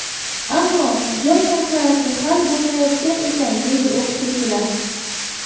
Ammo joy masalasi hal bo‘lmayotgan ekan, deydi o‘qituvchilar.